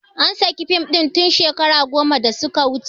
An saki fim ɗin tin shekaru goma da su ka wuce